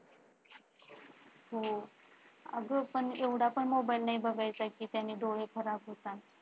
हा. अग पण एवढा पण मोबाईल नई बघायचा कि त्याने डोळे खराब होतात.